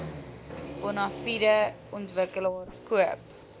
bonafide ontwikkelaar koop